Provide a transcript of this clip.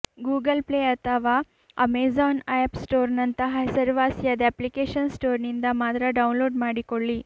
Google Play ಅಥವಾ Amazon app ಸ್ಟೋರ್ನಂತಹ ಹೆಸರುವಾಸಿಯಾದ ಅಪ್ಲಿಕೇಶನ್ ಸ್ಟೋರ್ನಿಂದ ಮಾತ್ರ ಡೌನ್ಲೋಡ್ ಮಾಡಿಕೊಳ್ಳಿ